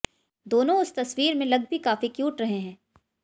दोनों उस तस्वीर में लग भी काफी क्यूट रहे हैं